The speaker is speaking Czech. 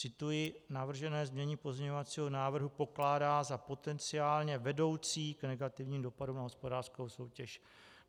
Cituji: Navržené znění pozměňovacího návrhu pokládá za potenciálně vedoucí k negativním dopadům na hospodářskou soutěž.